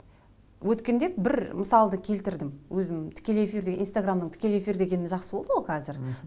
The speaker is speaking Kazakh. өткенде бір мысалды келтірдім өзім тікелей эфирде инстаграмның тікелей эфир дегені жақсы болды ғой қазір мхм